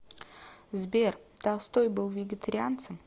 сбер толстой был вегетарианцем